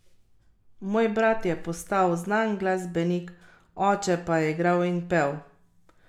Moj brat je postal znan glasbenik, oče pa je igral in pel.